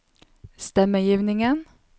stemmegivningen